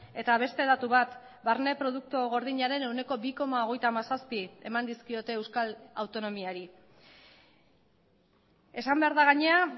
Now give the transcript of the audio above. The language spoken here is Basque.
eta beste datu bat barne produktu gordinaren ehuneko bi koma hogeita hamazazpi eman dizkiote euskal autonomiari esan behar da gainera